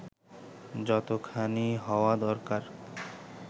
যতোখানি হওয়া দরকার